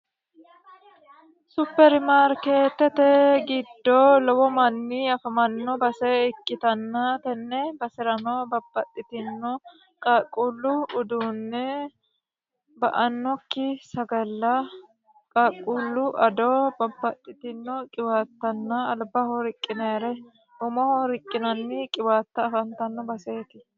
superimaarkeetete giddoo lowo manni afamanno base ikkitanna tenne basi'rano bapaxxitino qaaqquullu uduunne ba annokki sagalla qaaqquullu ado babbaxxitino qiwaattanna albaho riqqineere umoho riqqinanni qiwaatta afantanno baseeti